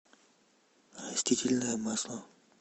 растительное масло